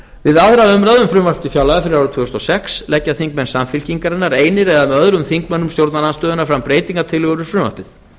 við aðra umræðu um frumvarp til fjárlaga fyrir árið tvö þúsund og sex leggja þingmenn samfylkingarinnar einir eða með öðrum þingmönnum stjórnarandstöðunnar fram breytingartillögur við frumvarpið